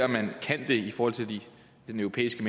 man kan det i forhold til den europæiske